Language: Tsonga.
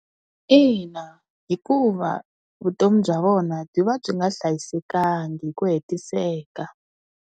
Ina, hikuva vutomi bya vona byi va byi nga hlayisekanga hi ku hetiseka.